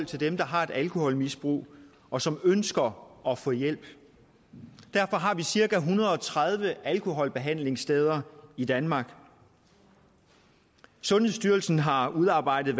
til dem der har et alkoholmisbrug og som ønsker at få hjælp derfor har vi cirka en hundrede og tredive alkoholbehandlingssteder i danmark sundhedsstyrelsen har udarbejdet